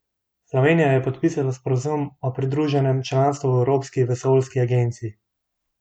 Slovenija je podpisala sporazum o pridruženem članstvu v Evropski vesoljski agenciji.